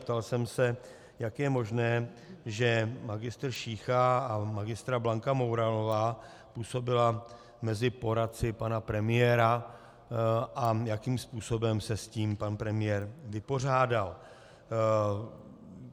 Ptal jsem se, jak je možné, že magistr Šícha a magistra Blanka Mouralová působili mezi poradci pana premiéra a jakým způsobem se s tím pan premiér vypořádal.